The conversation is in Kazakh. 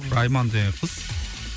айман деген қыз